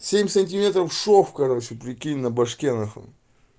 семь сантиметров шов короче прикинь на башке нахуй